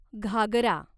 Ghaghara